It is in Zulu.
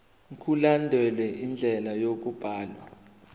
mkulandelwe indlela yokubhalwa